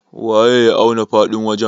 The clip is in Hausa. waye ya auna faɗin wajen?